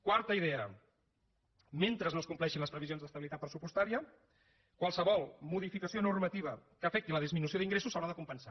quarta idea mentre no es compleixin les previsions d’estabilitat pressupostària qualsevol modificació normativa que afecti la disminució d’ingressos s’haurà de compensar